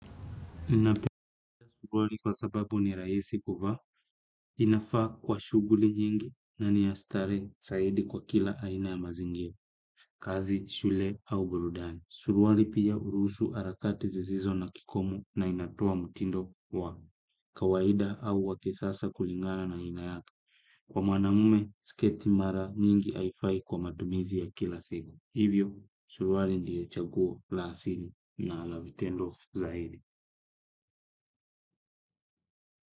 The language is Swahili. Inapenu kugoli kwa sababu ni raisi kuvaa, inafaa kwa shuguli nyingi na ni ya starehe saidi kwa kila aina ya mazingira, kazi, shule au burudani. Suruali pia uruhusu harakati zisizo na kikomo na inatoa mtindo wa kawaida au wa kisasa kulingana na aina yake. Kwa manamume, sketi mara nyingi haifai kwa matumizi ya kila siku. Hivyo, suruali ndiyo chaguo la asili na la vitendo zaidi.